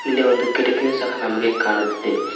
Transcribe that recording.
ಹಿಂದೆ ಒಂದು ಕಿಟಕಿಯು ಸಹ ನಮಗೆ ಕಾಣುತ್ತಿದೆ.